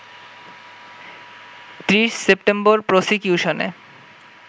৩০ September প্রসিকিউশনে